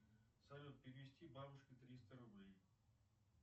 салют перевести бабушке триста рублей